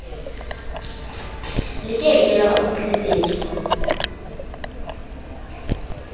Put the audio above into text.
le ke ke la kgutlisetswa